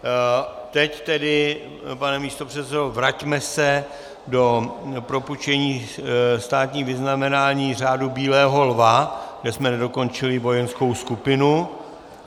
Teď tedy, pane místopředsedo, vraťme se do propůjčení státních vyznamenání, Řádu bílého lva, kde jsme nedokončili vojenskou skupinu.